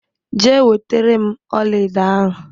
Jee wetere m ọlaedo ahụ!